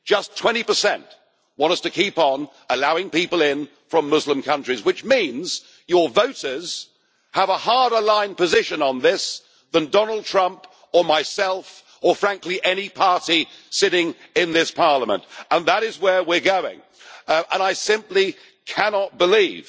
Only 20 want us to continue allowing people in from Muslim countries which means your voters have a harder line position on this than Donald Trump, myself, or frankly any party sitting in this Parliament! That is where we are going and I simply cannot believe